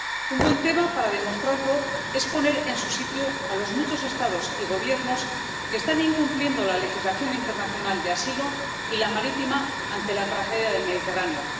Un buen tema para demostrarlo es poner en su sitio a los muchos Estados y Gobiernos que están incumpliendo la legislación internacional de asilo y la marítima ante la tragedia del Mediterráneo.